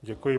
Děkuji.